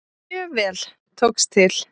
Mjög vel tókst til.